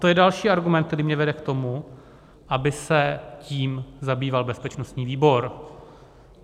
To je další argument, který mě vede k tomu, aby se tím zabýval bezpečnostní výbor.